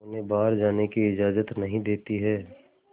उन्हें बाहर जाने की इजाज़त नहीं देती है